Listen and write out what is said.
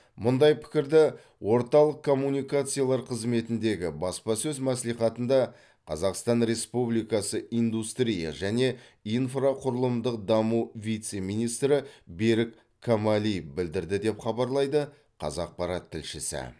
мұндай пікірді орталық коммуникациялар қызметіндегі баспасөз мәслихатында қазақстан республикасы индустрия және инфрақұрылымдық даму вице министрі берік камалиев білдірді деп хабарлайды қазақпарат тілшісі